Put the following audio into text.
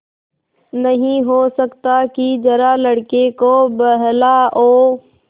नहीं हो सकता कि जरा लड़के को बहलाओ